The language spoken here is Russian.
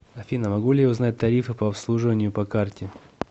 афина могу ли я узнать тарифы по обслуживанию по карте